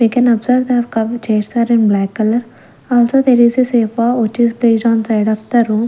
we can observe that the chairs are in black color also there is a safa which is based on side of the room.